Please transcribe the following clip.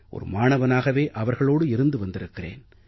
ஒரு மாணவனாகவே அவர்களோடு இருந்திருக்கிறேன்